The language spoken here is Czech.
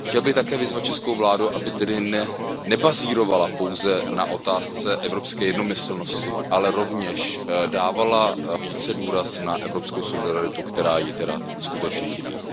Chtěl bych také vyzvat českou vládu, aby tedy nebazírovala pouze na otázce evropské jednomyslnosti, ale rovněž dávala více důraz na evropskou solidaritu, která jí tedy skutečně chybí.